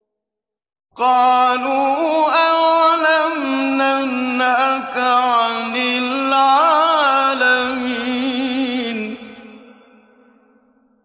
قَالُوا أَوَلَمْ نَنْهَكَ عَنِ الْعَالَمِينَ